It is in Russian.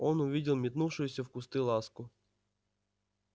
он увидел метнувшуюся в кусты ласку